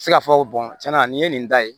se ka fɔ tiɲɛna nin ye nin da ye